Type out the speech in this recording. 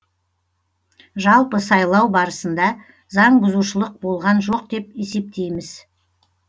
жалпы сайлау барысында заңбұзушылық болған жоқ деп есептейміз